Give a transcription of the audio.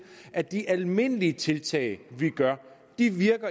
at de almindelige tiltag vi gør